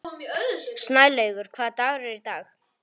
Snælaugur, hvaða dagur er í dag?